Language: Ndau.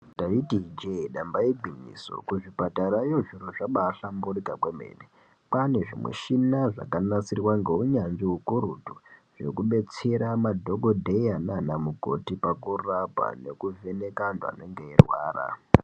Taiti ijee damba igwinyiso kuzvipatarayo zviro zvabaahlamburika kwemene. Kwaane zvimishina zvakanasirwa ngeunyanzvi hukurutu, zvekubetsera madhokodheya naana mukoti pakurapa nekuvheneka antu anenge eirwara.